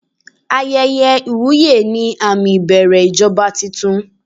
Ayẹyẹ ìwúyè ni àmì ìbẹ̀rẹ̀ ìjọba tuntun.